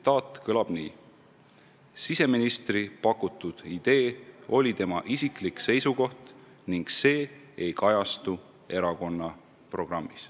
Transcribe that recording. Ja see kõlab nii: "Siseministri pakutud idee oli tema isiklik seisukoht ning see ei kajastu erakonna programmis."